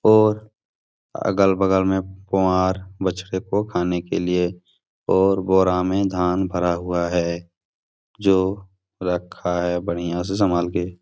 और अगल-बगल में कॉ और बछ्ड़े को खाने के लिए और बोरा में धान भरा हुआ है जो रखा है बढ़िया से संभाल के।